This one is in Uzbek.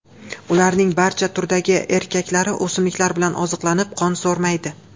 Ularning barcha turdagi erkaklari o‘simliklar bilan oziqlanib, qon so‘rmaydi.